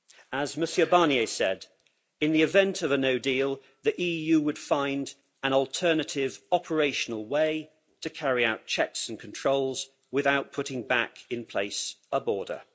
As Mr Barnier said in the event of a no deal the EU would find an alternative operational way to carry out checks and controls without putting back in place a border'.